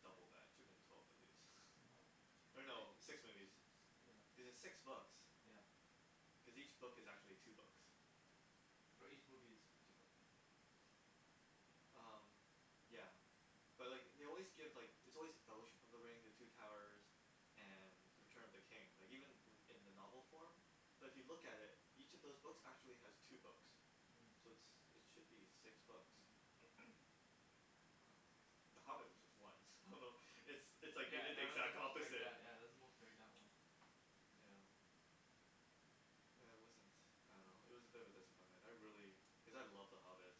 double that, it should've been twelve movies. woah or uh-huh. no li- six six movies yeah cuz it's six books yeah cause each book is actually two books or each movie is two books umm yeah But like they always give like it's always The Fellowship of the Ring the Two Towers and The Return of the King. Like even uh-huh in in the novel form but if you look at it each of those books actually has two books Mm So it's it should be six books Mm umm, The Hobbit was just one, I don't know it's Mm it's like they yeah did the that was the exact most dragged opposite out yeah that was the most dragged out one yeah yeah huh uh it wasn't I don't know it was a bit of a disappointment, I really, Mm cuz I love The Hobbit